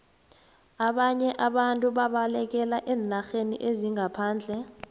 ababnye abantu babalekela eenarheni zangaphandle